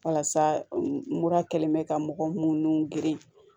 Walasa nkura kɛlen bɛ ka mɔgɔ munnu geren